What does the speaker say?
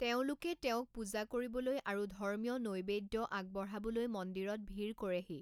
তেওঁলোকে তেওঁক পূজা কৰিবলৈ আৰু ধৰ্মীয় নৈবেদ্য আগবঢ়াবলৈ মন্দিৰত ভিৰ কৰেহি।